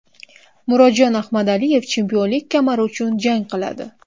Murodjon Ahmadaliyev chempionlik kamari uchun jang qiladi.